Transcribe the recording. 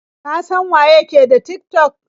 Ka san waye ke da Tik-tok?